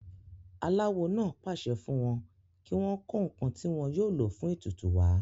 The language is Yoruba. aláwo náà pàṣẹ fún wọn kí wọ́n kó ǹkan tí wọn yóò lò fún ètùtù wá